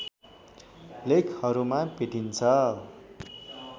लेखहरूमा भेटिन्छ